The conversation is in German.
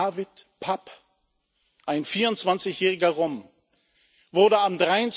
Dávid Papp, ein 24 jähriger Rom, wurde am